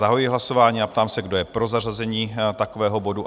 Zahajuji hlasování a ptám se, kdo je pro zařazení takového bodu?